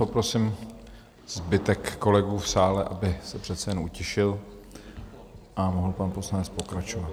Poprosím zbytek kolegů v sále, aby se přece jen utišili a mohl pan poslanec pokračovat.